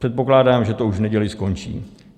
Předpokládám, že to už v neděli skončí.